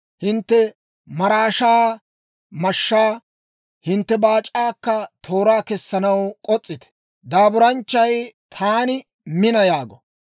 Hintte maraashaa mashshaa, hintte baac'aakka tooraa kessanaw k'os's'ite! Daaburanchchay, Taani mina! yaago.